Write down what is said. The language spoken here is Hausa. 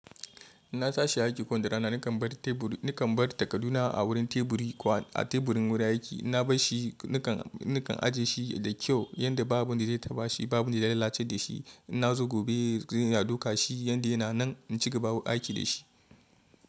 Ina tashi aiki ko da rana nakan bar teburi, nakan bar takaduna a wurin teburi a teburin wurin aiki. Na bar shi, nakan, nakan ajiye shi da kyau yanda babu wanda zai taba shi, babu wanda zai lalace da shi. In na zo gobe zan duka shi yanda yana nan in cigaba aiki da shi.